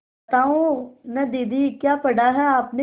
बताओ न दीदी क्या पढ़ा है आपने